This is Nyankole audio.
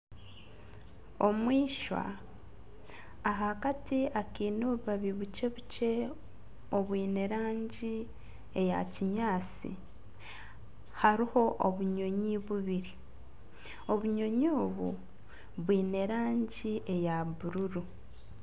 Omu ishwa ahakati akaine obubabi bukye bukye obwine erangi eya kinyaatsi hariho obunyonyi bubiri obunyonyi obu bwine erangi eya bururu